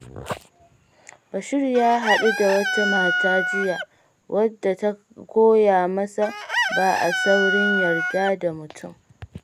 Bashir ya haɗu da wata mata jiya, wadda ta koya masa ba a saurin yarda da mutum.